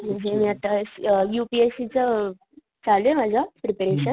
मी आता U P S C च चालूये माझं प्रिपरेशन